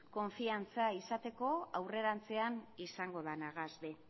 konfiantza izateko aurrerantzean izango denagaz ere